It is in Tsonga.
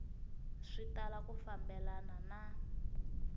swi tala ku fambelana na